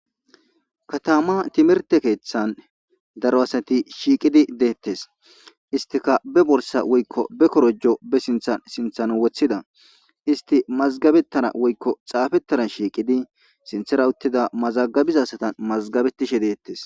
Kataman timihirte keththa daro asatti shiiqqidi dettes isttikka be borssa woykko be korojo be sinthtthan woththida istti mazgabettana woykko xaafetana sinththera uuttida asati mazgabettisje de'ettes